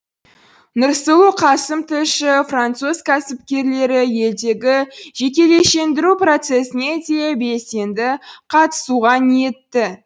нұрсұлу қасым тілші француз кәсіпкерлері елдегі жекешелендіру процесіне де белсенді қатысуға ниетті